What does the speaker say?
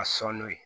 A sɔn n'o ye